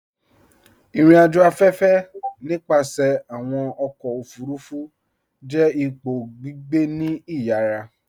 Irìn-àjò afẹ́fẹ̀, nípasẹ̀ awọn ọkọ̀ ofurufu, jẹ́ ìpọ̀ gbígbẹ̀ ní ìyàrà